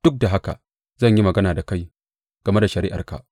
Duk da haka zan yi magana da kai game da shari’arka.